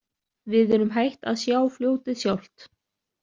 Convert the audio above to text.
Við erum hætt að sjá fljótið sjálft.